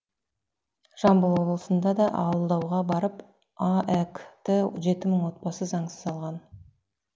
жамбыл облысында да алдауға барып аәк ті жеті мың отбасы заңсыз алған